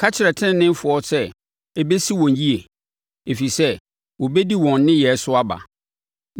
Ka kyerɛ teneneefoɔ sɛ ɛbɛsi wɔn yie, ɛfiri sɛ wɔbɛdi wɔn nneyɛeɛ so aba.